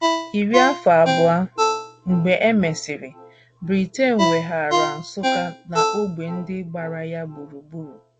Iri afọ abụọ mgbe e mesịrị, Britain weghaara Nsukka na ógbè ndị gbara ya gburugburu.